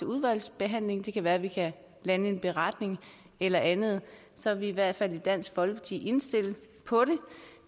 udvalgsbehandlingen det kan være vi kan lande en beretning eller andet så er vi i hvert fald i dansk folkeparti indstillet på det